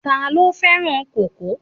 Ta ló fẹ́ràn kókò?